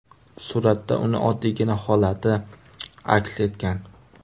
Suratda uning oddiygina holati aks etgan.